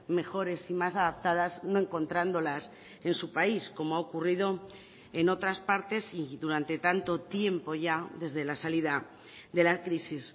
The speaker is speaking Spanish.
mejores y más adaptadas no encontrándolas en su país como ha ocurrido en otras partes y durante tanto tiempo ya desde la salida de la crisis